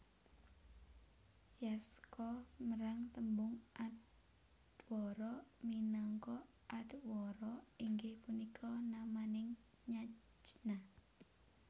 Yaska merang tembung Adhwara minangka Adhwara inggih punika namaning yajna